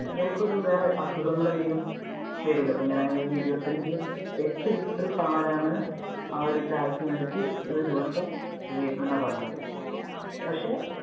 ഇയാൾക്ക് ഒരു വേറെ അസുഖങ്ങൾ ഒക്കെ വരില്ലേ. അപ്പൊ ഇങ്ങനെ ഇരുപത്തി അഞ്ചു, എട്ടു ലിറ്റർ പാലാണ് ആ ഒരു ചായക്ക് വേണ്ടിട്ട് ഒരു ദിവസം ഉപയോഗിക്കുന്നത് എന്നാണ് പറഞ്ഞത്. പക്ഷെ